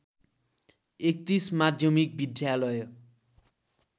३१ माध्यमिक विद्यालय